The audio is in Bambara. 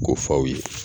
Ko f'aw ye